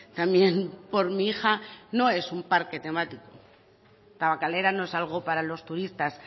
también por mi hija no es un parque temático tabakalera no es algo para los turistas